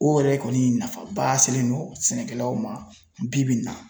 O yɛrɛ kɔni nafa ba selen don sɛnɛkɛlaw ma bi bi in na.